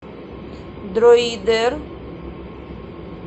друидер